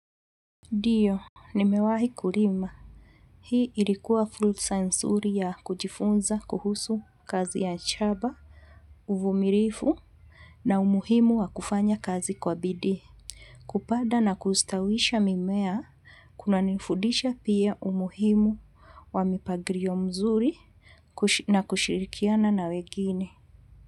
Diyo, nimewahi kulima. Hii ilikuwa fulsa nsuri ya kujifunza kuhusu kazi ya shaba, uvumirifu na umuhimu wa kufanya kazi kwa bidii. Kupada na kustawisha mimea, kuna nifudisha pia umuhimu wa mipangrio mzuri na kushirikiana na wegine.